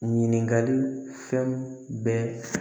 Ɲininkali fɛn bɛɛ